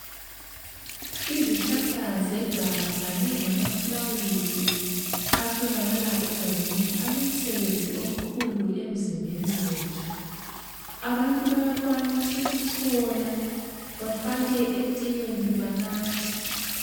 Izihlahla zeganga kanye lamafulawuzi atholakala egangeni alomsebenzi omkhulu emzimbeni yethu. Abantu bayakwanisa ukuchola bafake etiyeni banathe.